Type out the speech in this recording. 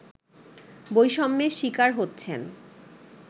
বৈষম্যের শিকার হচ্ছেন